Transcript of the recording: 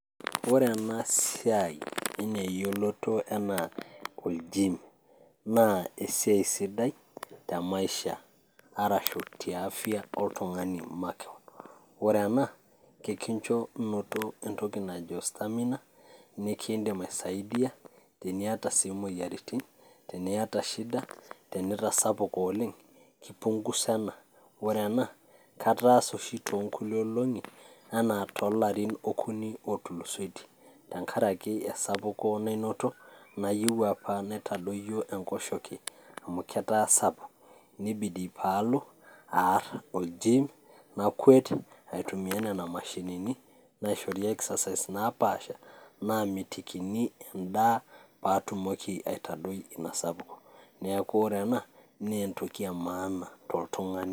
Oreena siaai ana eyioloto anaa orgim naa esiaai sidai temaisha arashu tiafia oltungani makeon ore ena ekincho noto entoki naji orstamina nikindim aisaidia teniata sii moyiaritin, teniata shida tenitasapuka oleng keipunguza ena, ore ena kataasa oshi to nkuti olongi ana tolarin okuni otulusoitie ,tenkaraki esapuko nainoto nayieu apa naitadoyio enkosheke amu keraa sapuk neibidi palo aar orjim nakwet aitumia nona mashinini naishori exercise naapasha namitikini endaa paatumoki aitadoi ina sapuko, neaku ore enaa naa entoki emaana toltungani.